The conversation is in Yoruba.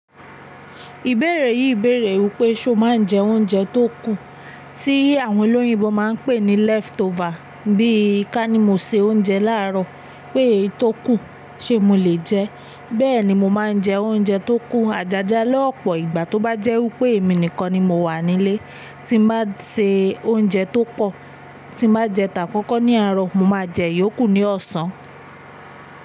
Ìbéèrè yìí béèrè wí pé ṣé o máa ń jẹ oúnjẹ tó kù, tí àwọn olóyinbo máa ń pè ní lẹ́fítofà. Bí i ká ní mo sè oúnjẹ láàárọ̀ pé èyí tó kù, ṣé mo lè jẹ ẹ́? Bẹ́ẹ̀ ni, mo máa ń jẹ oúnjẹ tó kù àjájá lọ́pọ̀ ìgbà tó bá jẹ́ wí pé èmi nìkan ni mo wà nílé tí mo bá sè oúnjẹ tó pọ̀. Tí mo bá jẹ tàkọ́kọ́ ní àárọ̀, mo máa jẹ yòókù ní ọ̀sán.